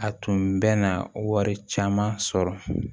A tun bɛna wari caman sɔrɔ